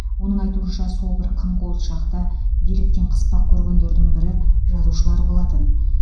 оның айтуынша сол бір қым қуыт шақта биліктен қыспақ көргендердің бірі жазушылар болатын